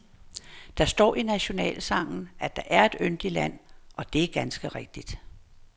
Der står i nationalsangen, at der er et yndigt land og det er ganske rigtigt.